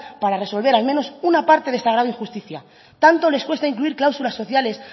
para resolver al menos una parte de este agravio y justicia tanto les cuesta incluir cláusulas sociales